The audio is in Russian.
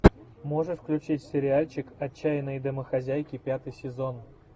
можешь включить сериальчик отчаянные домохозяйки пятый сезон